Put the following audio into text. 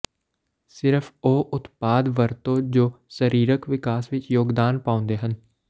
ਸਿਰਫ਼ ਉਹ ਉਤਪਾਦ ਵਰਤੋ ਜੋ ਸਰੀਰਕ ਵਿਕਾਸ ਵਿੱਚ ਯੋਗਦਾਨ ਪਾਉਂਦੇ ਹਨ